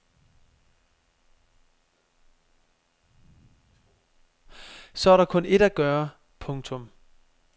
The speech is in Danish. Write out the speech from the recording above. Så er der kun ét at gøre. punktum